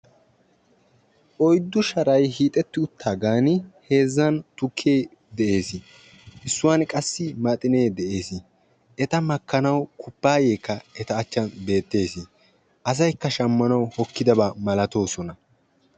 oyddu sharay hiixeti uttidaga bollani heezzani tukke dessi issuwani qassi maxine dessi etta makkanaw kuppayekka dessi assaykka shamanayo hokkidabakka malatossona.